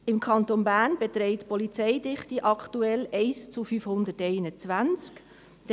Im Kanton Bern beträgt die Polizeidichte aktuell 1 zu 521.